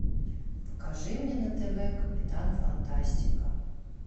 покажи мне на тв капитан фантастика